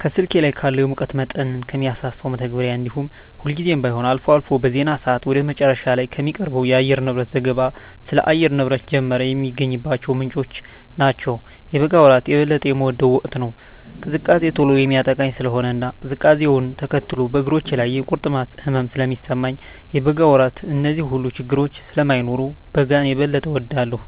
ከስልኬ ላይ ካለው የሙቀት መጠንን ከሚያሳሰው መተግበሪያ እንዲሁም ሁልጊዜም ባይሆን አልፎ አልፎ በዜና ሰአት ወደ መጨረሻ ላይ ከሚቀርበው የአየርንብረት ዘገባ ስለ አየር ንብረት ጀመረ የሚገኝባቸው ምንጮች ናቸው። የበጋ ወራት የበለጠ የምወደው ወቅት ነው። ቅዝቃዜ ቶሎ የሚያጠቃኝ ስለሆነ እና ቅዝቃዜውነ ተከትሎ በእግሮቼ ላይ የቁርጥማት ህመም ስለሚሰማኝ የበጋ ወራት ላይ እነዚህ ሁሉ ችግረኞች ስለማይኖሩ በጋን የበጠ እወዳለሁ።